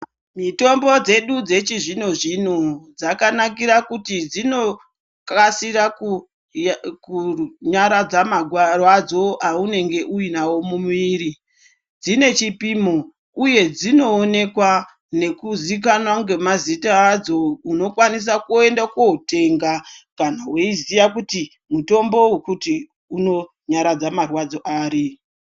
Mitombo dzedu dzechizvino zvino dzakanakira kuti dzinokasira kunyaradza marwadzo aunenge uinawo mumwiri, dzine chipimo uye dzinoonekwa nekuzikanwa ngemazita adzo unokwanisa kuenda kotenga kana weiziya kuti mutombo wokati unonyaradza marwadzo ari.